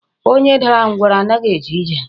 Onye dara ngwụrọ anaghị aga ije.